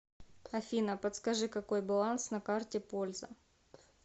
афина подскажи какой баланс на карте польза